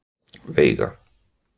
Veiga